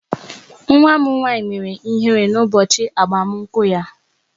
Nwa m nwaanyị mere ihere n'ụbọchị agbamakwụkwọ ya.